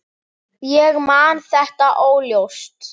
Ég man þetta óljóst.